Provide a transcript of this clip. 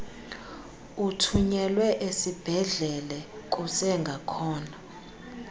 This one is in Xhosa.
uthunyelwe esibhedlele kusengakhona